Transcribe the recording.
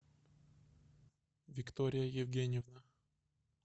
виктория евгеньевна